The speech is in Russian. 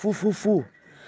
фу фу фу